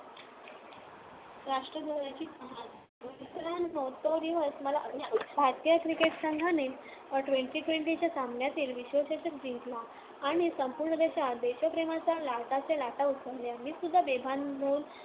मित्रांनो, तो दिवस मला अजूनही आठवतो. भारतीय क्रिकेट संघाने twenty twenty च्या सामन्यांतील विश्‍वचषक जिंकला आणि संपूर्ण देशात देशप्रेमाच्या लाटाच्या लाटा उसळल्या. मीसुद्धा बेभान होऊन